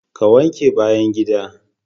Ka wanke bayan gida.